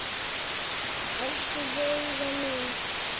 Elsku Veiga mín.